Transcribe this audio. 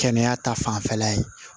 Kɛnɛya ta fanfɛla ye